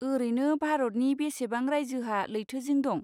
ओरैनो भारतनि बेसेबां रायजोहा लैथोजिं दं?